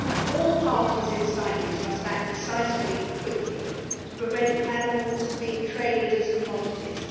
All parties to CITES must act decisively and quickly to prevent animals being traded as commodities.